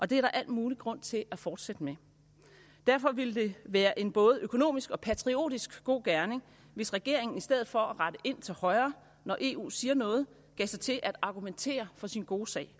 det er der al mulig grund til at fortsætte med derfor ville det være en både økonomisk og patriotisk god gerning hvis regeringen i stedet for at rette ind til højre når eu siger noget gav sig til at argumentere for sin gode sag